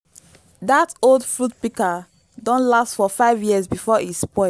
dat old fruit pika don last for 5 years before e spoil